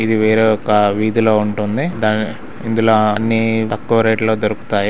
ఇది వేరొక వీధిలో ఉంటుంది. ఇందులో అన్నీ తక్కువ రేట్ లో దొరుకుతాయి. .